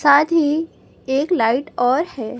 साथी एक लाइट और है।